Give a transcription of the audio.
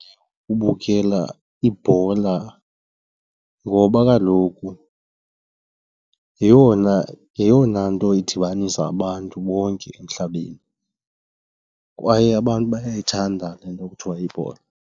Ubukela ibhola ngoba kaloku yeyona, yeyona nto idibanisa abantu bonke emhlabeni kwaye abantu bayayithanda le nto kuthiwa yibhola.